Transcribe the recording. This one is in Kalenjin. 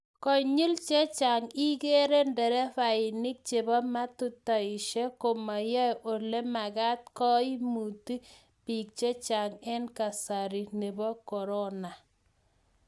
konyil chechang igeere nderefainik chebo matatushek komayae olemagat koimuti biik chechang eng kasari nebo korona